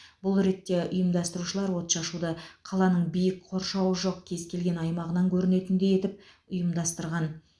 бұл ретте ұйымдастырушылар отшашуды қаланың биік қоршауы жоқ кез келген аймағынан көрінетіндей етіп ұйымдастырған